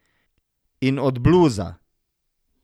In od bluza.